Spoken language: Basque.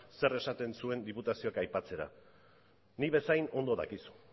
zer esaten zuen diputaziok aipatzera nik bezain ondo dakizu